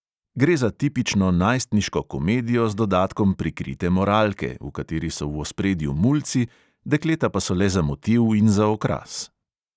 Gre za tipično najstniško komedijo z dodatkom prikrite moralke, v kateri so v ospredju mulci, dekleta pa so le za motiv in za okras.